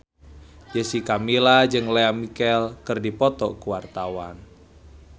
Jessica Milla jeung Lea Michele keur dipoto ku wartawan